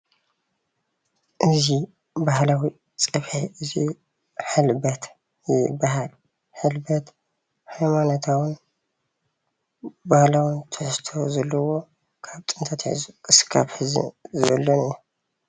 እዚ ባህላዊ ፀብሒ እዚ ሕልበት ይባሃል፡፡ ሕልበት ሃይማኖታዊን ባህላዊን ትሕዝቶ ዘለዎ ካብ ጥንቲ ኣትሒዙ ክሳብ ሕዚ ዘሎን እዩ፡፡